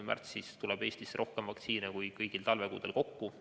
Märtsis tuleb Eestisse rohkem vaktsiine kui kõigil talvekuudel kokku.